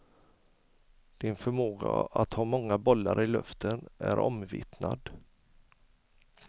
Din förmåga att ha många bollar i luften är omvittnad.